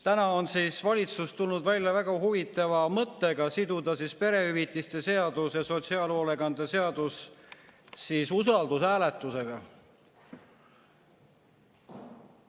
Täna on valitsus tulnud välja väga huvitava mõttega: siduda perehüvitiste seadus ja sotsiaalhoolekande seadus usaldushääletusega.